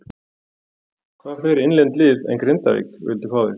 Hvaða fleiri innlend lið en Grindavík vildu fá þig?